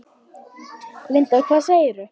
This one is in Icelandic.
Linda: Hvað segirðu?